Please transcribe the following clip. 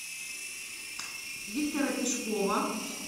виктора пешкова